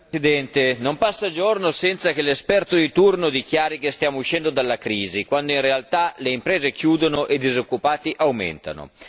Signor Presidente, non passa giorno senza che l'esperto di turno dichiari che stiamo uscendo dalla crisi, quando in realtà le imprese chiudono e i disoccupati aumentano.